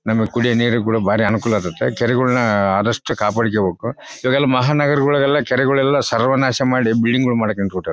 ನಮಗೆ ಕುಡಿಯುವ ನೀರುಗಳು ಭಾರಿ ಅನುಕೂಲ ಆಗತೈತೆ ಕೆರೆಗಳನ್ನ ಆದಷ್ಟು ಕಾಪಾಡ್ಕೋಬೇಕು ಮಹಾನ್ ನಗರಗಳಲೆಲ್ಲ ಕೆರೆಗಳೆಲ್ಲ ಸರ್ವನಾಶ ಮಾಡಿ ಬಿಲ್ಡಿಂಗ್ ಮಾಡೋಕೆ ನಿಂತ್ಬಿಟ್ಟರ್--